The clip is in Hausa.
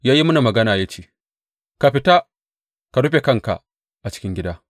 Ya yi mini magana ya ce, Ka fita, ka rufe kanka a cikin gida.